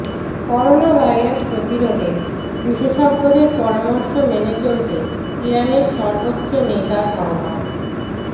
coronavirus প্রতিরোধে বিশেষজ্ঞদের পরামর্শ মেনে চলতে ইরানের সর্বোচ্চ নেতার আহ্বান